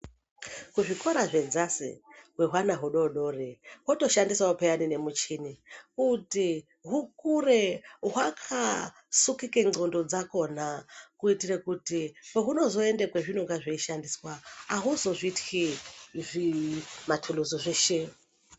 Kuzvikora zvedzasi hwehwana hudodori votoshandisavo peyani nemuchini kuti hukure hwaka sukike ndxondo dzakona. Kuitire kuti pahuunozoende kwezvinonga zvishandiswa hauzozvitxi zvimatuluzi zveshe.